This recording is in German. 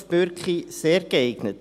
Christoph Bürki: sehr geeignet.